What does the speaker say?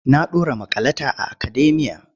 Na ɗora maƙalata a akademiya.